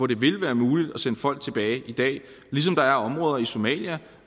det vil være muligt at sende folk tilbage i dag ligesom der er områder i somalia